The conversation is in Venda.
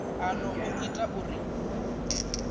a no o ita uri